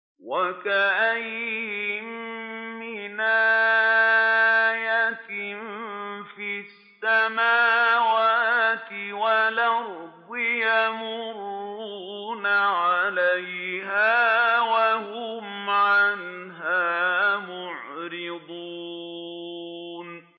وَكَأَيِّن مِّنْ آيَةٍ فِي السَّمَاوَاتِ وَالْأَرْضِ يَمُرُّونَ عَلَيْهَا وَهُمْ عَنْهَا مُعْرِضُونَ